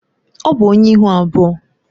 Ọ bụ onye ihu abụọ.